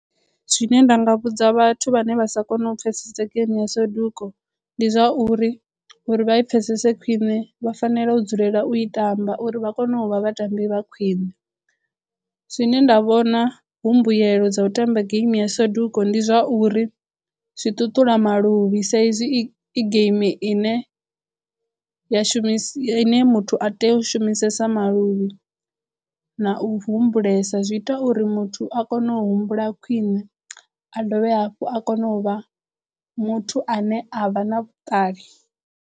Zwine nda nga vhudza vhathu vhane vha sa kono u pfesese geimi ya saduko ndi zwa uri uri vha i pfhesese khwiṋe vha fanela u dzulela u i tamba uri vha kone u vha vhatambi vha khwiṋe. Zwine nda vhona hu mbuyelo dza u tamba game ya saduko ndi zwa uri zwi ṱuṱula maluvhi sa izwi i igeimi ine ya shumiswa ine muthu a tea u u shumisesa maluvhi na u humbulesa zwi ita uri muthu a kono u humbula khwiṋe a dovhe hafhu a kono u vha muthu ane a vha na vhuṱali.